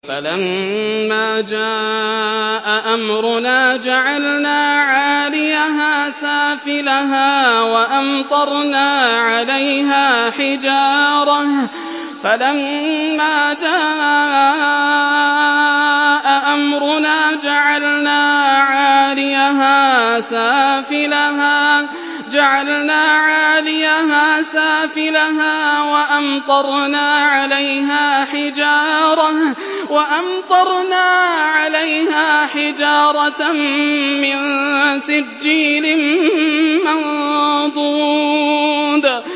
فَلَمَّا جَاءَ أَمْرُنَا جَعَلْنَا عَالِيَهَا سَافِلَهَا وَأَمْطَرْنَا عَلَيْهَا حِجَارَةً مِّن سِجِّيلٍ مَّنضُودٍ